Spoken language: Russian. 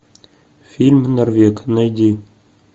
фильм норвег найди